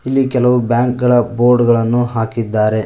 ಈ ಕೆಲವು ಬ್ಯಾಂಕ್ ಗಳ ಬೋರ್ಡ್ ಗಳನ್ನು ಹಾಕಿದ್ದಾರೆ.